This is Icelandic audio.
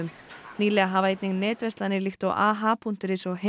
nýlega hafa einnig netverslanir líkt og aha punktur is og